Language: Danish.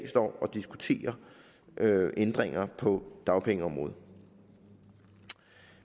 og diskuterer ændringer på dagpengeområdet